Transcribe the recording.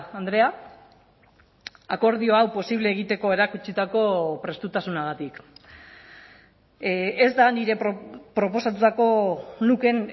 andrea akordio hau posible egiteko erakutsitako prestutasunagatik ez da nire proposatutako lukeen